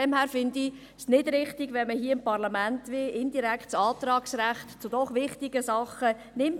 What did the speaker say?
Deshalb finde ich es nicht richtig, wenn man hier dem Parlament indirekt das Antragsrecht zu doch wichtigen Sachen nimmt.